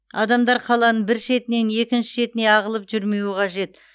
адамдар қаланың бір шетінен екінші шетіне ағылып жүрмеуі қажет